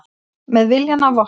Með viljann að vopni